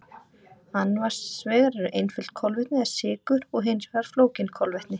Annars vegar eru einföld kolvetni eða sykur og hins vegar flókin kolvetni.